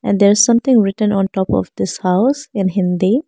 there is something written on top of this house in hindi.